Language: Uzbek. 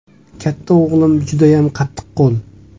Katta o‘g‘lim judayam qattiqqo‘l.